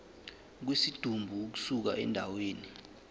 kwesidumbu ukusuka endaweni